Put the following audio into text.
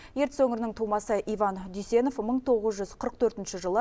ертіс өңірінің тумасы иван дүйсенов мың тоғыз жүз қырық төртінші жылы